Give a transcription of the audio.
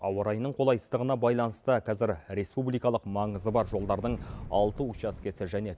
ауа райының қолайсыздығына байланысты қазір республикалық маңызы бар жолдардың алты учаскесі және